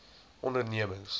ondernemings